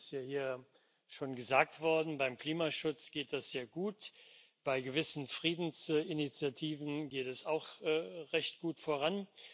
Das ist ja hier schon gesagt worden Beim Klimaschutz geht es sehr gut, bei gewissen Friedensinitiativen geht es auch recht gut voran.